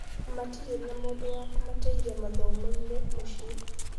Matirĩ na mũndũ wa kũmateithia mathomo-inĩ mũciĩ.